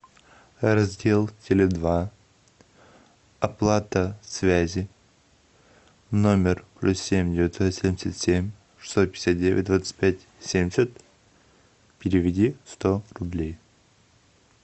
раздел теле два оплата связи номер плюс семь девятьсот семьдесят семь шестьсот пятьдесят девять двадцать пять семьдесят переведи сто рублей